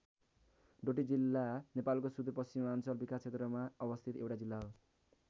डोटी जिल्ला नेपालको सूदुर पश्चिमाञ्चल विकास क्षेत्रमा अवस्थित एउटा जिल्ला हो।